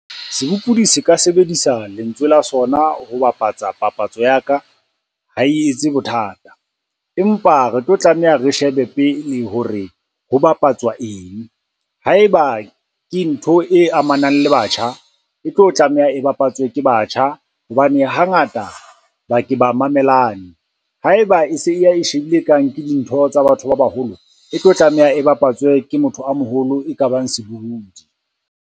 Se ka sebedisa lentswe la sona ho bapatsa papatso ya ka, ha e etse bothata. Empa re tlo tlameha re shebe pele ho re ho bapatswa eng? Ha eba ke ntho e amanang le batjha, e tlo tlameha e bapatswe ke batjha hobane hangata ba ke ba mamelane. Ha eba e se e ya e shebile e kang ke dintho tsa batho ba baholo, e tlo tlameha e bapatswe ke motho a moholo e ka bang sebohodi.